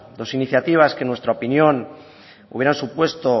dos iniciativa que en nuestra opinión hubieran supuesto